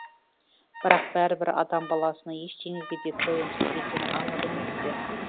бірақ бәрібір адам баласының ештеңеге де тойымсыз екені анық емес пе